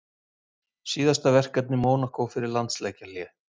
Síðasta verkefni Mónakó fyrir landsleikjahlé?